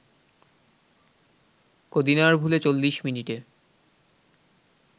কদিনার ভুলে ৪০ মিনিটে